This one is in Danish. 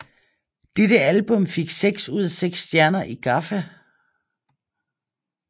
Dette album fik fem ud af seks stjerner i GAFFA